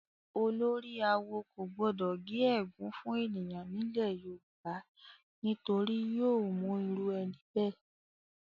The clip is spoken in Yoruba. Olórí-awo kò gbọdọ gé ègún fún ènìyàn nílẹ̀ Yorùbá, nítorí yóò mú irú ẹni bẹ́ẹ̀.